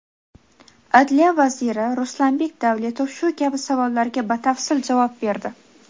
Adliya vaziri Ruslanbek Davletov shu kabi savollarga batafsil javob berdi.